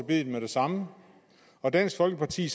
biddet med det samme og dansk folkeparti